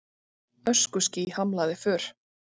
Öskuský hamlaði för